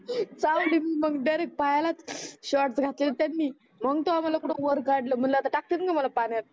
चवली मी मग डायरेक्ट पायालाच शॉर्ट घातलेले त्यांनी मग तवहा मला कुठ वर काडल म्हणल आता टाकतेच म्हणल पाण्यात